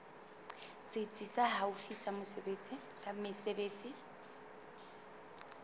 setsi se haufi sa mesebetsi